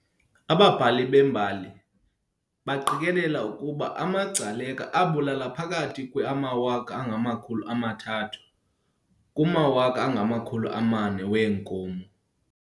Ababhali bembali baqikelela ukuba amaGcaleka abulala phakathi kwe amawaka angamakhulu amathathu, 300,000, kumawaka angamakhulu amane, 400,000, weenkomo.